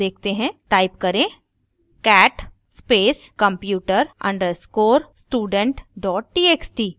type करें cat space computer _ student txt